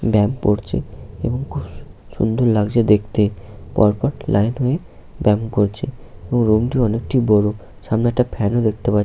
ব্যায়াম করছে এবং খুব সুন্দর লাগছে দেখতে পর পর লাইন হয়ে ব্যায়াম করছে রুমটি অনেকটি বড় সামনে একটা ফ্যান দেখতে পাচ্ছি।